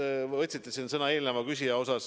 Te mainisite siin ka eelmist küsijat.